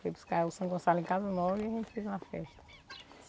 Fui buscar o São Gonçalo em casa nova e a gente fez uma festa.